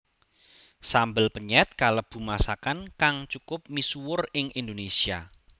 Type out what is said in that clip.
Sambel penyèt kalebu masakan kang cukup misuwur ing Indonésia